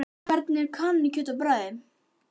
En hvernig er kanínukjöt á bragðið?